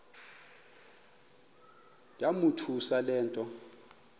yamothusa le nto